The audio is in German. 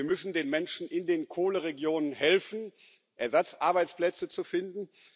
Wir müssen den Menschen in den Kohleregionen helfen, Ersatzarbeitsplätze zu finden.